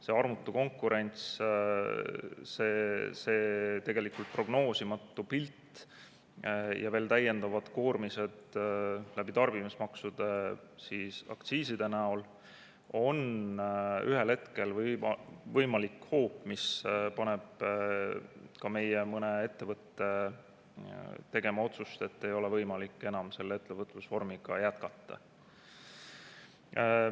See armutu konkurents, see tegelikult prognoosimatu pilt ning täiendavad koormised tarbimismaksude ja aktsiiside näol on ühel hetkel võimalik hoop, mis võib panna ka mõne meie ettevõtte tegema otsust, et ei ole võimalik enam sellise ettevõtlusvormiga jätkata.